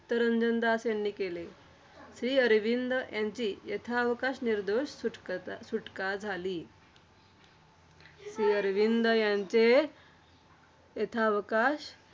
चित्तरंजन दास यांनी केले. श्रीअरविंद यांची यथावकाश निर्दोष सुटका सुटका झाली. श्रीअरविंद यांचे यथावकाश